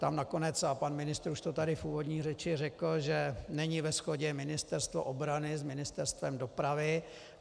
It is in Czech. Tam nakonec, a pan ministr už to tady v úvodní řeči řekl, že není ve shodě Ministerstvo obrany s Ministerstvem dopravy.